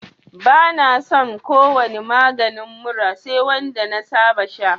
Bani son ko wani maganin mura sai wanda na saba sha